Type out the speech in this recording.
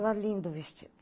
Era lindo o vestido.